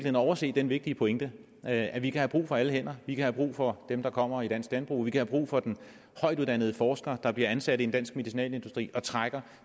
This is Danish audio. at overse den vigtige pointe at vi kan have brug for alle hænder vi kan have brug for dem der kommer i dansk landbrug vi kan have brug for den højtuddannede forsker der bliver ansat i en dansk medicinalindustri og trækker